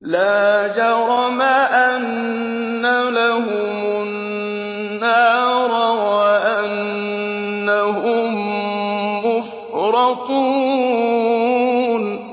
لَا جَرَمَ أَنَّ لَهُمُ النَّارَ وَأَنَّهُم مُّفْرَطُونَ